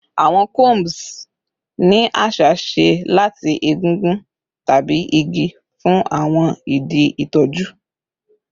Awọn combs ni aṣa ṣe lati egungun tabi igi fun awọn idi itọju